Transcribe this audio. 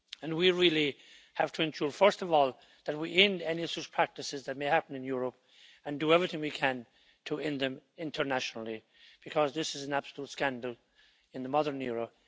We really have to ensure, first of all, that we end any such practices that may be happening in Europe, and do everything we can to end them internationally, because this is an absolute scandal in the modern era.